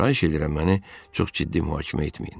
Xahiş edirəm, məni çox ciddi mühakimə etməyin.